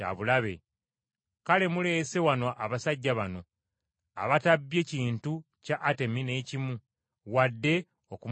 Kale muleese wano abasajja bano abatabbye kintu kya Atemi n’ekimu, wadde okumunyoomoola.